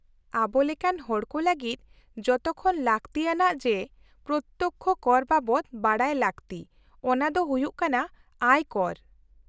-ᱟᱵᱚᱞᱮᱠᱟᱱ ᱦᱚᱲᱠᱚ ᱞᱟᱹᱜᱤᱫ ᱡᱚᱛᱚᱠᱷᱚᱱ ᱞᱟᱹᱛᱤᱭᱟᱱᱟᱜ ᱡᱮ ᱯᱨᱚᱛᱛᱚᱠᱽᱠᱷᱚ ᱠᱚᱨ ᱵᱟᱵᱚᱫ ᱵᱟᱰᱟᱭ ᱞᱟᱹᱜᱛᱤ ᱚᱱᱟ ᱫᱚ ᱦᱩᱭᱩᱜ ᱠᱟᱱᱟ ᱟᱭ ᱠᱚᱨ ᱾